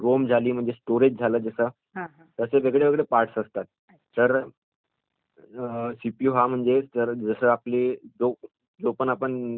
असे वेगळे वेगळे पार्ट असतात...तर सीपीयू हा म्हणजे तर..जस आपली जो आपण म्हणजे काम करायचं असेल आपल्याला